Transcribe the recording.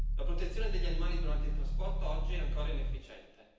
La protezione degli animali durante il trasporto oggi è ancora inefficiente.